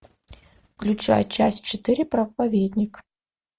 включай часть четыре проповедник